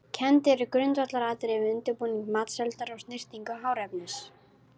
Kennd eru grundvallaratriði við undirbúning matseldar og snyrtingu hráefnis.